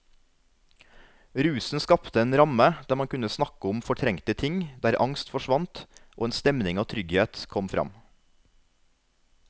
Rusen skapte en ramme der man kunne snakke om fortrengte ting, der angst forsvant og en stemning av trygghet kom fram.